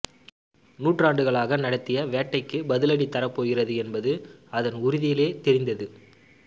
நூற்றாண்டுகளாக நடத்திய வேட்டைக்குப் பதிலடி தரப்போகிறது என்பது அதன் உறுதியிலே தெரிந்தது